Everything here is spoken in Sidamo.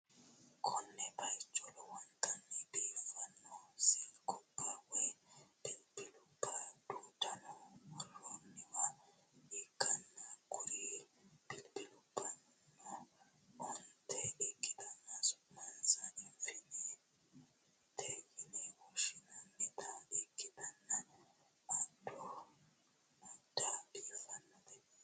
konne bayicho lowontanni biiffanno silkubba woy bilbilubba duunne worroonniwa ikkanna, kuri bilibilubbano onte ikkitanna su'mansano iifoonete yine woshshi'nannita ikkitanna, adda biiffannote.